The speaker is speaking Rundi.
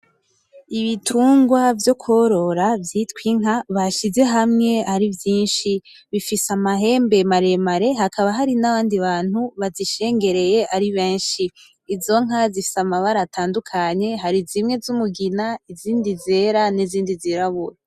Ibitungwa vyo korora vyitwa Inka bashize hamwe ari vyinshi bifise amahembe mare mare hakaba hari n'abandi bantu bazishengereye ari benshi izo nka zifise amabara atandukanye hari zimwe z’umugina izindi z'era n’izindi zirabura .